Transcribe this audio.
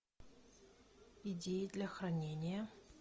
идеи для хранения